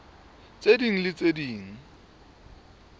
tse ding le tse ding